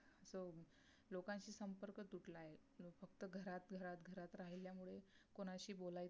कोणाशी बोलयच